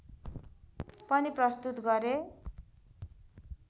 पनि प्रस्तुत गरे